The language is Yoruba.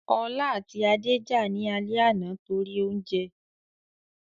Ọlá àti Adé jà ní alẹ́ àná torí oúnjẹ